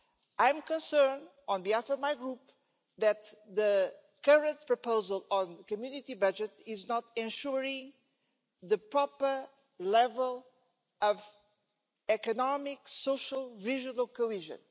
I am concerned, on behalf of my group, that the current proposal on the Community budget does not ensure the proper level of economic and social vision of cohesion.